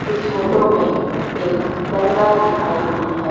इस फोटो मे एक दरगाह दिखाई हुई है।